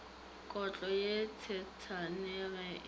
kotlo ye tshesane ge e